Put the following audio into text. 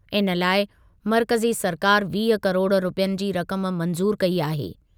इन लाइ मर्कज़ी सरकारि वीह किरोड़ रुपयनि जी रक़म मंज़ूर कई आहे।